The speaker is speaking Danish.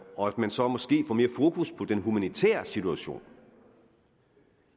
og at man så måske får mere fokus på den humanitære situation